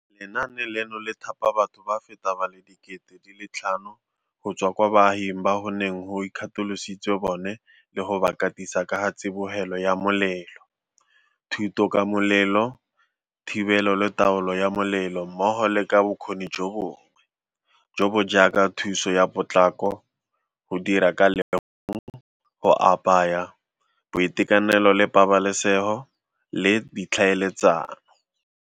Lenaane leno le thapa batho ba feta ba le 5 000 go tswa kwa baaging bao go neng go ikgatolositswe bone le go ba katisa ka ga tsibogelo ya molelo, thuto ka molelo, thibelo le taolo ya molelo mmogo le ka bokgoni jo bongwe, jo bo jaaka thuso ya potlako, go dira ka legong, go apaya, boitekanelo le pabalesego le ditlhaeletsano.